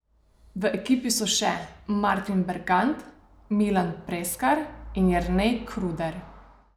V ekipi so še Martin Bergant, Milan Preskar in Jernej Kruder.